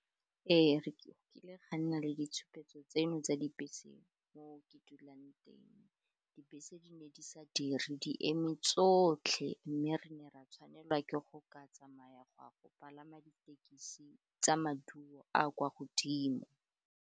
Ee, go kile ga nna le ditshupetso tseno tsa dibese mo ke dulang teng, dibese di ne di sa diri di eme tsotlhe, mme re ne ra tshwanelwa ke go ka tsamaya go a go palama ditekisi tsa maduo a kwa godimo.